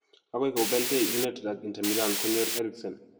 Agoi kobelgei United ak Inter Milan konyor Eriksen.